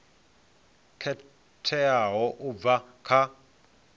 yo khetheaho u bva kha